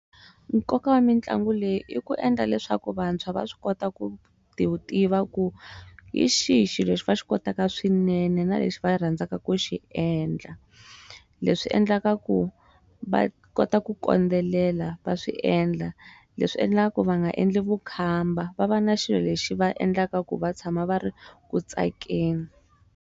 Nkoka wa mitlangu leyi i ku endla leswaku vantshwa va swi kota ku ti tiva ku yi xihi xilo lexi va xi kotaka swinene na lexi va rhandzaka ku xi endla leswi swi endlaka ku va kota ku kondelela va swiendla leswi endlaka va nga endli vukhamba va va na xilo lexi va endlaka ku va tshama va ri ku tsakeni.